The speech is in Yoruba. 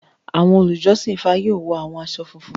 Awọn olujọsin IFA yoo wọ awọn aṣọ funfun.